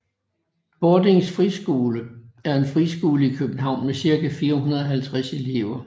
Bordings Friskole er en friskole i København med cirka 450 elever